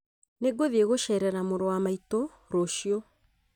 Nĩ ngũthiĩ gũceerera mũrũ wa maitũ rũciũ